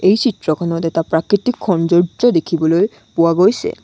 এই চিত্ৰখনত এটা প্ৰাকৃতিক সৌন্দৰ্য্য দেখিবলৈ পোৱা গৈছে।